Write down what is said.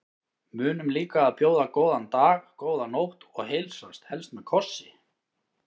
Munum líka að bjóða góðan dag, góða nótt og heilsast, helst með kossi.